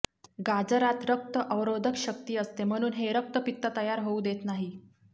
गाजरात रक्त अवरोधक शक्ती असते म्हणून हे रक्तपित्त तयार होऊ देत नाही